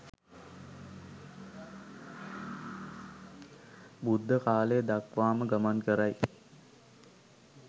බුද්ධ කාලය දක්වාම ගමන් කරයි.